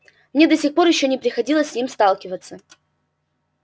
мне до сих пор ещё не приходилось с ним сталкиваться